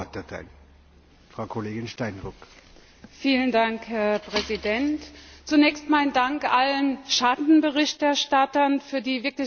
Herr Präsident! Zunächst mein Dank allen Schattenberichterstattern für die wirklich sehr gute und intensive Zusammenarbeit von Anfang an.